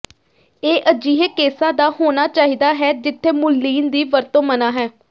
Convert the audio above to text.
ਇਹ ਅਜਿਹੇ ਕੇਸਾਂ ਦਾ ਹੋਣਾ ਚਾਹੀਦਾ ਹੈ ਜਿੱਥੇ ਮੁਲਲੀਨ ਦੀ ਵਰਤੋਂ ਮਨ੍ਹਾ ਹੈ